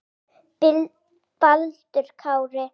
kveðja, Baldur Kári.